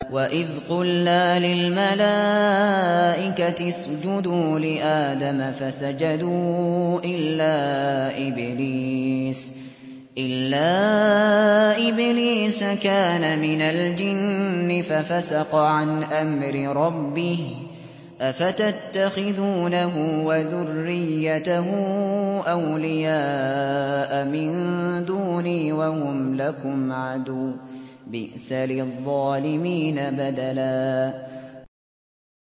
وَإِذْ قُلْنَا لِلْمَلَائِكَةِ اسْجُدُوا لِآدَمَ فَسَجَدُوا إِلَّا إِبْلِيسَ كَانَ مِنَ الْجِنِّ فَفَسَقَ عَنْ أَمْرِ رَبِّهِ ۗ أَفَتَتَّخِذُونَهُ وَذُرِّيَّتَهُ أَوْلِيَاءَ مِن دُونِي وَهُمْ لَكُمْ عَدُوٌّ ۚ بِئْسَ لِلظَّالِمِينَ بَدَلًا